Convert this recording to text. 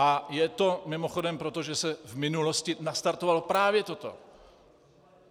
A je to mimochodem proto, že se v minulosti nastartovalo právě toto.